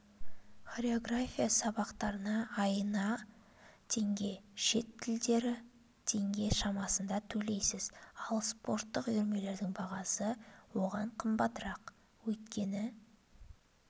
хореография сабақтарына айына теңге шет тілдері теңге шамасында төлейсіз ал спорттық үйірмелердің бағасы одан қымбаттырақ өйткені